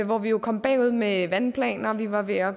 hvor vi jo kom bagud med vandplaner vi var ved at